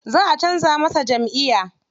Za a canza masa jamʼiya.